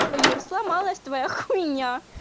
всё юра сломалась твоя хуйня